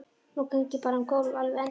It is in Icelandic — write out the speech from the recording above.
Nú geng ég bara um gólf, alveg endalaust.